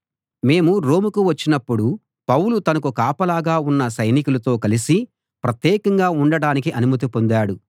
మేము రోమ్ కు వచ్చినప్పుడు పౌలు తనకు కాపలాగా ఉన్న సైనికులతో కలిసి ప్రత్యేకంగా ఉండడానికి అనుమతి పొందాడు